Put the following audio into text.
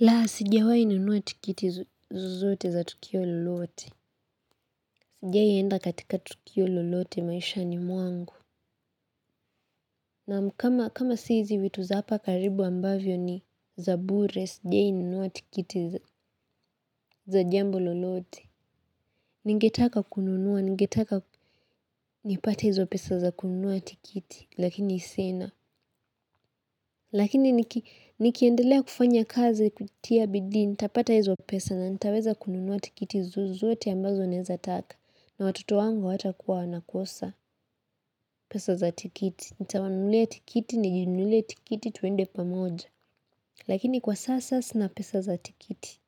Laa, sijawainunua tikiti zozote za tukio lolote. Sijiai enda katika tukio lolote maishani mwangu. Naam kama sizi witu za hapa karibu ambavyo ni za bure, sijiai ninunuwa tikiti za jambo lolote. Ningetaka kununua, ningetaka nipata hizo pesa za kununua tikiti, lakini sina. Lakini nikiendelea kufanya kazi kutia bidii, nitapata hizo pesa na nitaweza kununua tikiti zozote ambazo nezataka. Na watoto wangu watakuwa nakosa pesa za tikiti. Nitawanulia tikiti, nijinulie tikiti tuende pamoja. Lakini kwa sasa sina pesa za tikiti.